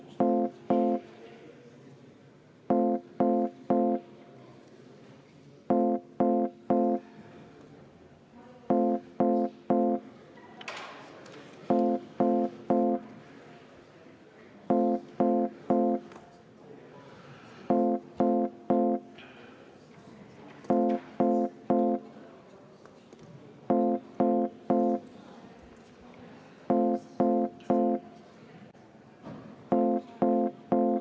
V a h e a e g